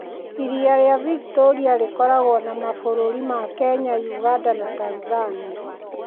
Iria rĩa Victoria rĩkoragwo na mabũrũri ma Kenya, ũganda, na Tanzania.